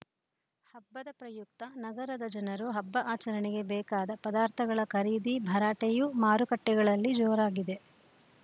ಹಬ್ಬದ ಪ್ರಯುಕ್ತ ನಗರದ ಜನರು ಹಬ್ಬ ಆಚರಣೆಗೆ ಬೇಕಾದ ಪದಾರ್ಥಗಳ ಖರೀದಿ ಭರಾಟೆಯೂ ಮಾರುಕಟ್ಟೆಗಳಲ್ಲಿ ಜೋರಾಗಿದೆ